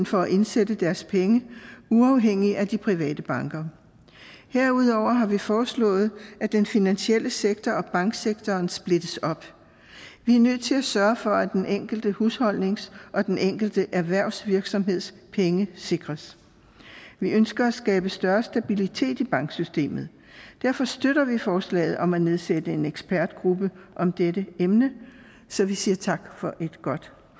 for at indsætte deres penge uafhængigt af de private banker herudover har vi foreslået at den finansielle sektor og banksektoren splittes op vi er nødt til at sørge for at den enkelte husholdnings og den enkelte erhvervsvirksomheds penge sikres vi ønsker at skabe større stabilitet i banksystemet derfor støtter vi forslaget om at nedsætte en ekspertgruppe om dette emne så vi siger tak for et godt